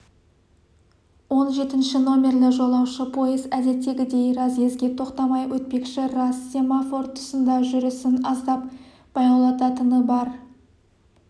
он жетінші номерлі жолаушы пойыз әдеттегідей разъезге тоқтамай өтпекші рас семафор тұсында жүрісін аздап баяулататыны бар